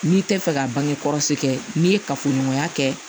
N'i tɛ fɛ ka bange kɔlɔsi kɛ n'i ye kafoɲɔgɔnya kɛ